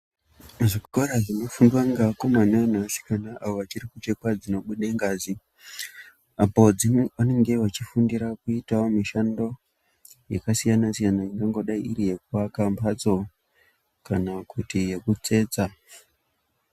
Zvikora zvinofundwa ngevakomana ngevasikana avo vachirikuchekwa dzinobude ngazi. Apo vanenge vachifundira kuitavo mishando yakasiyana-siyana inongodai iri yekuaka mhatso kana kuti yekutsetsa.